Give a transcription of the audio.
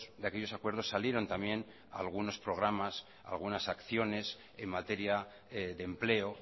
de aquellos acuerdos salieron también algunos programas algunas acciones en materia de empleo